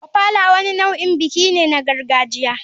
Ofala wani nau'in biki ne na gargajiya.